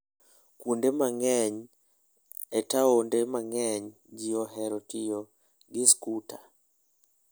Kuonde mang'eny e taonde mang'eny ji ohero tiyo gi skuter.